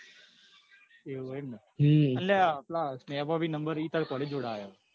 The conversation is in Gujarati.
અલ્યા પેલા નો number એં ત્યાં તાર college જોડે જ આયો.